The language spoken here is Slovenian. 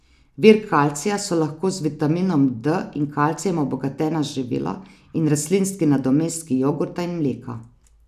Vir kalcija so lahko z vitaminom D in kalcijem obogatena živila in rastlinski nadomestki jogurta in mleka.